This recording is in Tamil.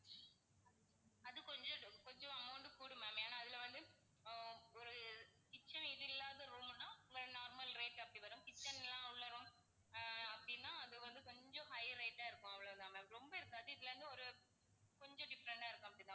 அது கொஞ்சம் கொஞ்சம் amount கூடும் ma'am ஏன்னா அதுல வந்து ஹம் ஒரு kitchen இது இல்லாத room னா normal rate அப்படி வரும் kitchen லாம் உள்ள room ஆஹ் அப்படின்னா அது வந்து கொஞ்சம் high rate ஆ இருக்கும் அவ்வளோ தான் ma'am ரொம்ப இருக்காது. இதுல இருந்து ஒரு கொஞ்சம் different ஆ இருக்கும் அப்படி தான்